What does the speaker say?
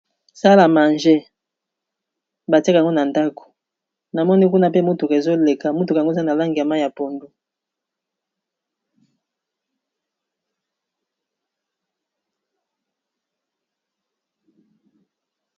Sale â manger... Ba tiak'ango na ndaku. Na moni kuna pe mutuka ezo leka, mutuka yango eza na langi ya mayi ya pondu.